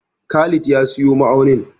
Khalid ya siyo ma'aunin.